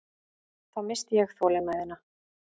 Þá missti ég þolinmæðina.